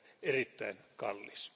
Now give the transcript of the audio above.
erittäin kallis.